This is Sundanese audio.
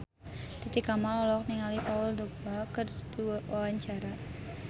Titi Kamal olohok ningali Paul Dogba keur diwawancara